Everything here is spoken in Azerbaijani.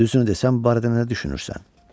Düzünü desən bu barədə nə düşünürsən?